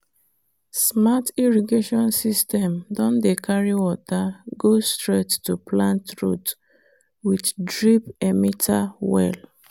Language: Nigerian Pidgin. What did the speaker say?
smart irrigation system don dey carry water go straight to plant root with drip emitter well.